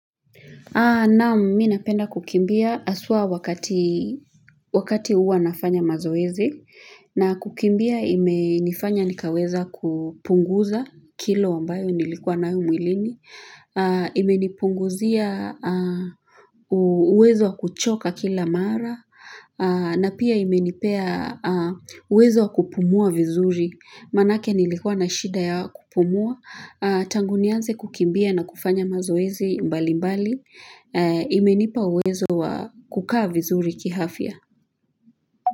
Naam mimi napenda kukimbia haswa wakati huwa nafanya mazoezi na kukimbia imenifanya nikaweza kupunguza kilo ambayo nilikuwa nayo mwilini, imenipunguzia uwezo wa kuchoka kila mara na pia imenipea uwezo wa kupumua vizuri. Manake nilikuwa na shida ya kupumua. Tangunianze kukimbia na kufanya mazoezi mbali mbali. Imenipa uwezo wa kukaa vizuri kiafya.